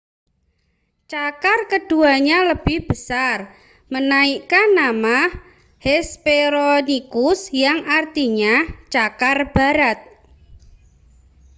cakar keduanya lebih besar menaikkan nama hesperonychus yang artinya cakar barat